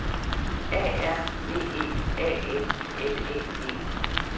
A R V E A N L Æ G